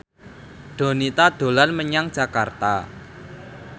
Donita dolan menyang Jakarta